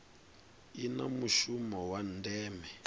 i na mushumo wa ndeme